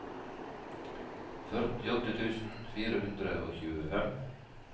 førtiåtte tusen fire hundre og tjuefem